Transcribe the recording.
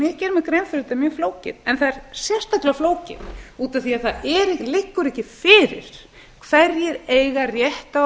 fyrir að þetta er mjög flókið en það er sérstaklega flókið út af því að það liggur ekki fyrir hvernig eiga rétt á að